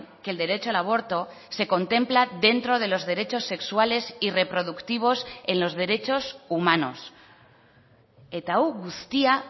que el derecho al aborto se contempla dentro de los derechos sexuales y reproductivos en los derechos humanos eta hau guztia